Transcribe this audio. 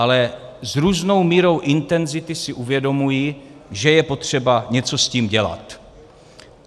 Ale s různou mírou intenzity si uvědomují, že je potřeba něco s tím dělat.